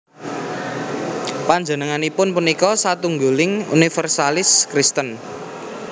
Panjenenganipun punika satunggiling univèrsalis Kristen